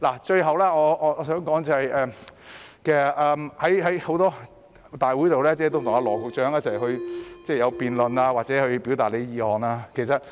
最後我想說的是，在很多會議上，我跟羅局長進行辯論或向他表達意見。